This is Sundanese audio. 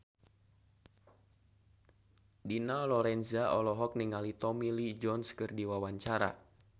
Dina Lorenza olohok ningali Tommy Lee Jones keur diwawancara